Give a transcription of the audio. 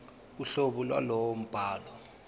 uhlobo lwalowo mbhalo